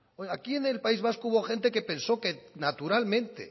oiga aquí en el país vasco hubo gente que pensó que naturalmente